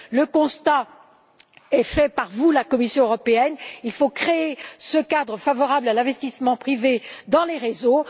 Le constat est fait par vous, la Commission européenne il faut créer ce cadre favorable à l'investissement privé dans les réseaux.